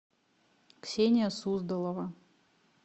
ксения суздалова